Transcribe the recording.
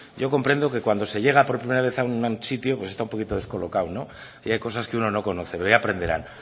yo comprendo que cuando se llega por primera vez a un sitio pues se está un poquito descolocado que haya cosas que uno no conoce pero ya aprenderán